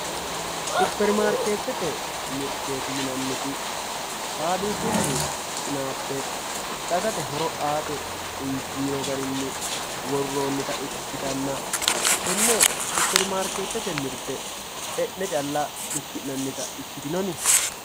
supperimarkeettete mirteeti yinanniti faabirikunni fushshine dagate horo aate worroonnita ikkitanna tenne supperimarkeettete mirte e'ne calla hidhinannita ikkitanna